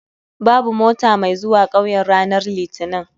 Babu mota mai zuwa 'kauyen ranar litinin